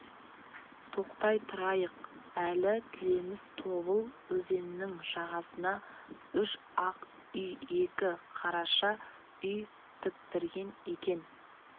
тоқтай тұрайық әлі тілеміс тобыл өзенінің жағасына үш ақ үй екі қараша үй тіктірген екен